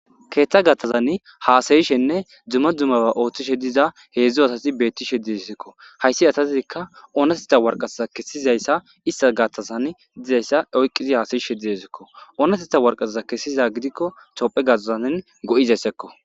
keeththa gaththazan haasayishenne dzuma dzumaba ooththishe diza heedzdzo asati beetti shedisikko hayssi atatidikka ooneteta warqasaza kessizayssa ista gaththasan dizayssa oyqqizi haasayi she diesikko ooneteta warqasaza kessiza gidikko topphe gatazanin go7izaysekko